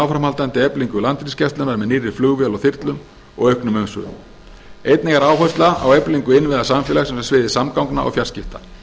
áframhaldandi eflingu landhelgisgæslunnar með nýrri flugvél og þyrlum og auknum umsvifum einnig er áhersla á eflingu innviða samfélagsins á sviði samgangna og fjarskipta